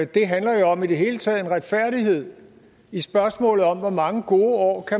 det handler jo i det hele taget om en retfærdighed i spørgsmålet om hvor mange gode år